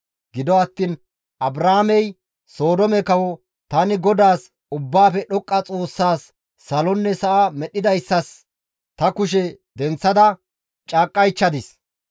Gido attiin Abraamey Sodoome kawo, «Tani GODAAS, Ubbaafe Dhoqqa Xoossaas, salonne sa7a medhdhidayssas, ta kushe denththada caaqqaychchadis.